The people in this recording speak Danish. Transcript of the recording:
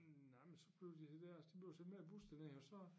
Nej men så blev de dér de blev sendt med bus derned og så